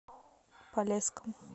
полесском